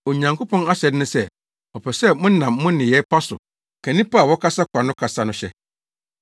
Onyankopɔn ahyɛde ne sɛ ɔpɛ sɛ monam mo nneyɛe pa so ka nnipa a wɔkasa kwa no kasa no hyɛ.